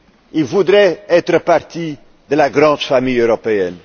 ils voulaient faire partie de la grande famille européenne.